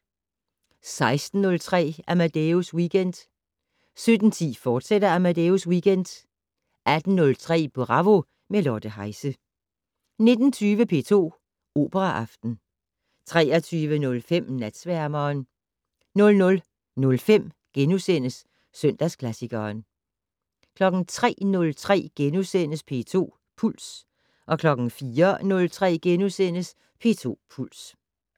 16:03: Amadeus Weekend 17:10: Amadeus Weekend, fortsat 18:03: Bravo - med Lotte Heise 19:20: P2 Operaaften 23:05: Natsværmeren 00:05: Søndagsklassikeren * 03:03: P2 Puls * 04:03: P2 Puls *